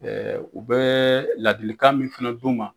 u bɛ ladilikan min fɛnɛ d'u ma